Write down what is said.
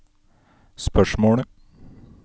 spørsmålet